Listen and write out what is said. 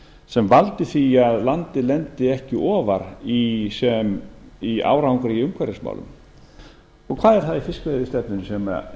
sem valdi því að landið lendi ekki ofar í árangri í umhverfismálum hvað er það í fiskveiðistefnunni sem er